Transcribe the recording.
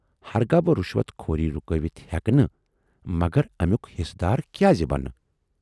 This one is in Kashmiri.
ہرگاہ بہٕ رِشوت خوری رُکٲوِتھ ہیکہٕ نہٕ مگر امیُک حِصہٕ دار کیازٕ بنہٕ۔